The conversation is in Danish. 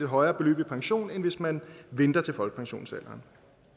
højere beløb i pension end hvis man venter til folkepensionsalderen